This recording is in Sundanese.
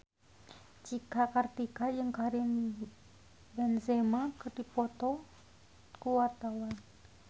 Cika Kartika jeung Karim Benzema keur dipoto ku wartawan